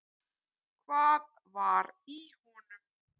Hvað var í honum?